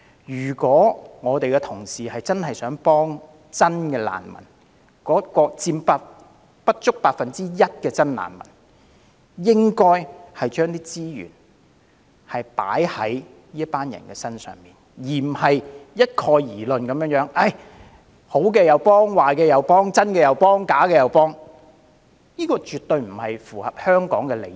如果同事真心希望幫助不足 1% 的真難民，應該將資源投放在真難民身上，而不應不論好壞，不分真假，統統幫助，因為此舉絕不符合香港的利益。